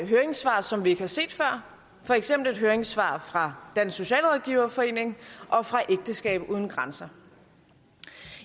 høringssvar som vi ikke har set før for eksempel et høringssvar fra dansk socialrådgiverforening og fra ægteskab uden grænser